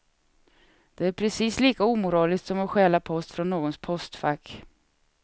Det är precis lika omoraliskt som att stjäla post från någons postfack.